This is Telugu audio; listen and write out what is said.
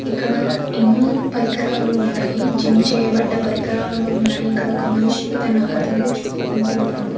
ఇక్కడ ఎన్నో పరికరాలు ఉన్నాయి జిమ్ చేయబడ్డ పరికరాలు ఉన్నాయి ఇక్కడ ఒక మనిషి తన అద్దంలో చూసుకుంటున్నాడు.